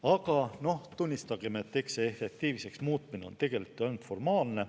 Aga tunnistagem, et eks see efektiivseks muutmine on ainult formaalne.